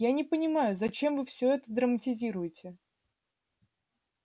я не понимаю зачем вы всё это драматизируете